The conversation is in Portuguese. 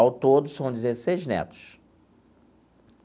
Ao todo, são dezesseis netos.